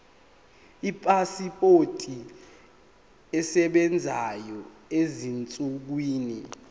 ipasipoti esebenzayo ezinsukwini